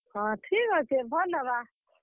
ହଁ, ଠିକ୍ ଅଛେ ଭଲ ହେବା।